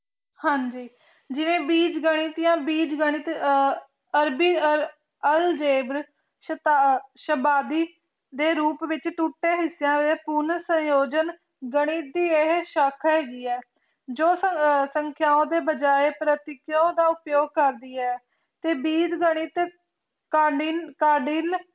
ਦੇ ਰੁਪ ਵਿੱਚ ਟੁਟੇ ਹਿਸਿਆ ਦੇ ਪੂਰਨ ਸਹਿਯੋਜਨ ਗਣਿਤ ਦੀ ਇਹ ਸ਼ਾਖਾ ਹੈਗੀ ਹੈ ਜੋ ਸੰਖਿਆ ਦੇ ਬਜਾਏ ਪ੍ਰਤੀਯੋ ਦਾ ਉਪਯੋਗ ਕਰਦੀ ਹੈ ਤੇ ਬੀਜ ਗਣਿਤ ਕਾਦਿਲ